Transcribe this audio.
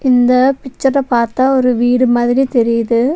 இந்த பிச்சர பாத்தா ஒரு வீடு மாதிரி தெரியிது.